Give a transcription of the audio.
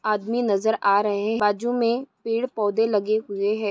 आदमी नजर आ रहे बाजू मे पेड़ पौधे लगे हुए है।